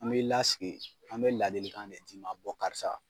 An b'i lasigi, an bɛ ladilikan de d'i ma karisa